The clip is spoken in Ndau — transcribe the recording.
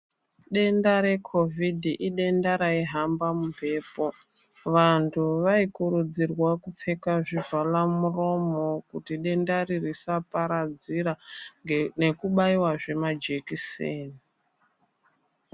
Denda reCOVID idenda raihamba mumphepo, vanthu vaikurudzirwa kupfeka zvivhalamuromo kuti dendari risaparadzira nekubaiwazve majekiseni.